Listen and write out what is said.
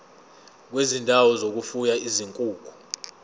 kwezindawo zokufuya izinkukhu